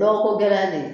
Dɔgɔko gɛlɛya de ye